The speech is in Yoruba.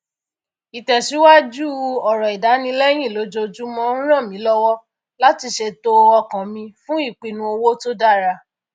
ìtẹsíwájú àwọn ọrọ ìdánilẹyìn lojoojúmọ ń ràn mí lọwọ láti ṣètò ọkàn mi fún ipinnu owó tó dára